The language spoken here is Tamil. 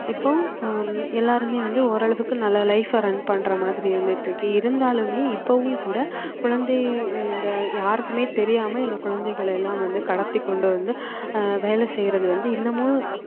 இப்போ ஹம் எல்லாருமே வந்து ஓரளவுக்கு நல்ல life அ run பண்ற மாதிரி இருந்துட்டு இருக்கு இருந்தாலுமே இப்பவும் கூட குழந்தை இந்த யாருக்குமே தெரியாம இந்த குழந்தைகளை எல்லாம் வந்து கடத்தி கொண்டு வந்து ஆஹ் வேலை செய்யறது வந்து இன்னமும்